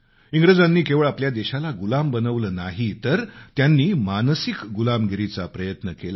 इंग्रजांनी केवळ आपल्या देशाला गुलाम बनवलं नाही तर त्यांनी आपल्याला मानसिकरित्याही गुलाम बनवण्याचा प्रयत्न केला